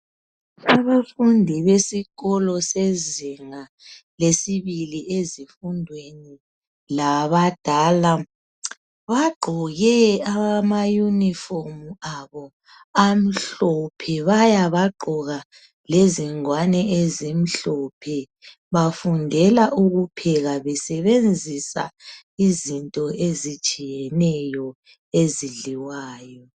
Abafundi besikolo sezinga lesibili ezifundweni labadala bagqoke amayunifomu abo amhlophe baya bagqoka lezingwane ezimhlophe, bafundela ukupheka besebenzisa izinto ezitshiyeneyo ezidliwayo.